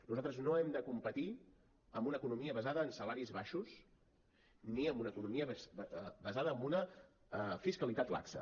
nosaltres no hem de competir amb una economia basada en salaris baixos ni amb una economia basada en una fiscalitat laxa